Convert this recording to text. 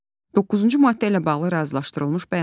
Doqquzuncu maddə ilə bağlı razılaşdırılmış bəyanat.